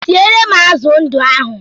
Siere m azụ ndụ ahụ!